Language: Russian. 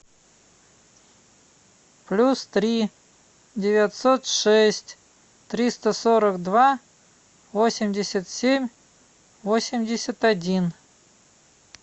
плюс три девятьсот шесть триста сорок два восемьдесят семь восемьдесят один